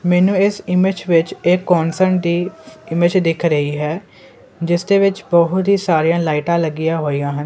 ਮੈਨੂੰ ਇਸ ਇਮੇਜ ਵਿੱਚ ਇਹ ਇਮੇਜ ਦਿਖ ਰਹੀ ਹੈ ਜਿਸ ਦੇ ਵਿੱਚ ਬਹੁਤ ਹੀ ਸਾਰੀਆਂ ਲਾਈਟਾਂ ਲੱਗੀਆਂ ਹੋਈਆਂ ਹਨ।